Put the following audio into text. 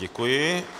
Děkuji.